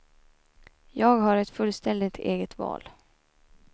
Jag har ett fullständigt eget val.